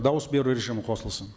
дауыс беру режимі қосылсын